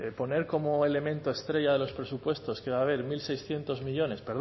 poner como elemento estrella de los presupuestos que va a haber mil seiscientos millónes